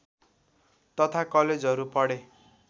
तथा कलेजहरू पढे